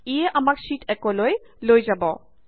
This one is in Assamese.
ইয়ে আমাক শ্যিট 1 লৈ লৈ যাব